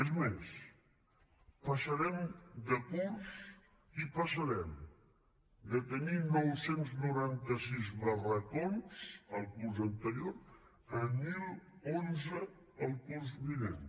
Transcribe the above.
és més passarem de curs i passarem de tenir nou cents i noranta sis barracots el curs anterior a deu deu u el curs vinent